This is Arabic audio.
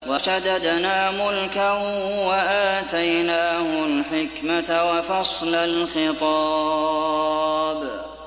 وَشَدَدْنَا مُلْكَهُ وَآتَيْنَاهُ الْحِكْمَةَ وَفَصْلَ الْخِطَابِ